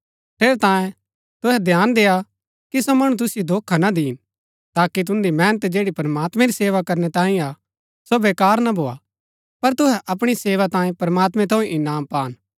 ठेरैतांये तुहै ध्यान देय्आ कि सो मणु तुसिओ धोखा ना दिन ताकि तुन्दी मेहनत जैड़ी प्रमात्मैं री सेवा करनै तांये हा सो वेकार ना भोआ पर तुहै अपणी सेवा तांये प्रमात्मैं थऊँ इनाम पान